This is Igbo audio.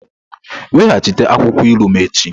Weghachite akwụkwọ ilu m echi!